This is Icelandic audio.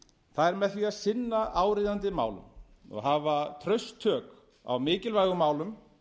það er með því að sinna áríðandi málum og hafa traust tök á mikilvægum málum